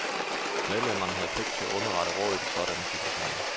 Medlemerne havde pligt til at underrette rådet i sådanne situationer.